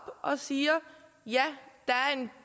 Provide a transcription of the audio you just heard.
og siger ja